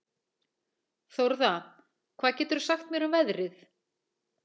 Þórða, hvað geturðu sagt mér um veðrið?